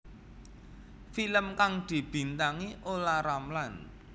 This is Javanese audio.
Film kang dibintangi Olla Ramlan